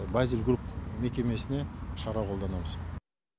базис групп мекемесіне шара қолданамыз